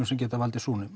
sem geta valdið